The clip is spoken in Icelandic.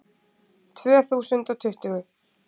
Tvö þúsund og tuttugu